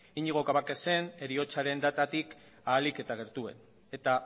iñigo cabacasen heriotzaren datatik ahalik eta gertuen eta